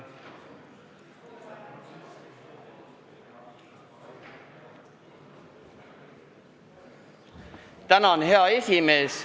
Tänan, hea esimees!